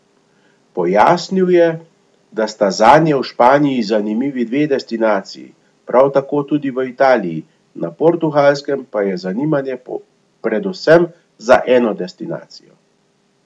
Pojasnil je, da sta zanje v Španiji zanimivi dve destinaciji, prav tako tudi v Italiji, na Portugalskem pa je zanimanje predvsem za eno destinacijo.